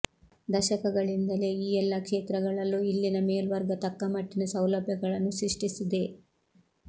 ದಶಕಗಳಿಂದಲೇ ಈ ಎಲ್ಲ ಕ್ಷೇತ್ರಗಳಲ್ಲೂ ಇಲ್ಲಿನ ಮೇಲ್ವರ್ಗ ತಕ್ಕಮಟ್ಟಿನ ಸೌಲಭ್ಯಗಳನ್ನು ಸೃಷ್ಟಿಸಿದೆ